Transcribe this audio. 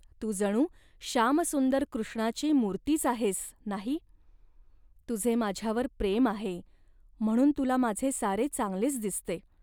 तू जणू श्यामसुंदर कृष्णाची मूर्तीच आहेस, नाही. तुझे माझ्यावर प्रेम आहे, म्हणून तुला माझे सारे चांगलेच दिसते